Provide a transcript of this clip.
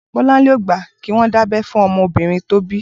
Bolanle ó gbà kiwọn dábẹ̀ fún ọmọ óbìrín tó bi